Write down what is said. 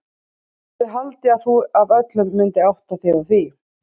Ég hefði haldið að þú af öllum myndir átta þig á því.